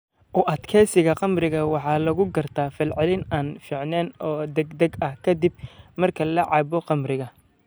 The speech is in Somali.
U adkeysiga khamriga waxaa lagu gartaa falcelin aan fiicneyn oo degdeg ah ka dib marka la cabbo khamriga.